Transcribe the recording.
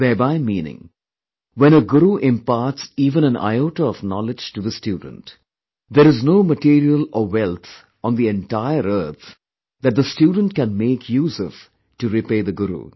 Thereby meaning, when a guru imparts even an iota of knowledge to the student, there is no material or wealth on the entire earth that the student can make use of, to repay the guru